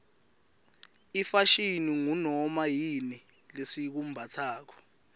ifashini ngunoma yini lesikumbatsako